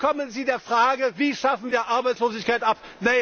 dann kommen sie der Frage Wie schaffen wir Arbeitslosigkeit